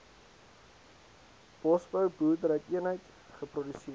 bosbou boerderyeenheid geproduseer